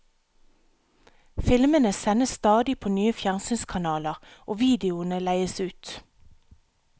Filmene sendes stadig på nye fjernsynskanaler, og videoene leies ut.